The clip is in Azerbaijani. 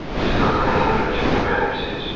Siz Dartanyanın hərəkətini bəyənirsiniz?